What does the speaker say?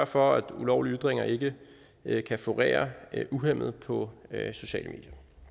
for at ulovlige ytringer ikke kan florere uhæmmet på sociale